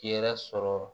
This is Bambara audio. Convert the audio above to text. Hɛrɛ sɔrɔ